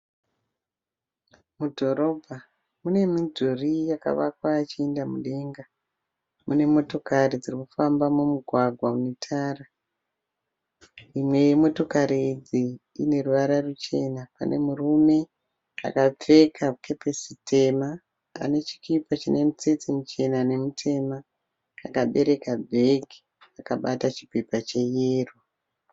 Mudhorobha mune midhuri yakavakwa ichienda mudenga. Mune motokari dziri kufa mumugwagwa une tara. Imwe yemotokari idzi ine ruvara ruchena. Pane murume akapfeka kepisi tema ane chikipa chine mitsetse michena nemitema akabereka bhegi akabata chipepa cheyellow